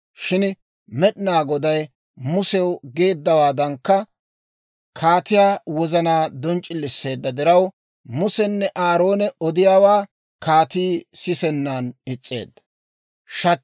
Shin Med'inaa Goday Musew geeddawaadankka, kaatiyaa wozana donc'c'iliseedda diraw, Musenne Aaroone odiyaawaa kaatii sisennan is's'eedda.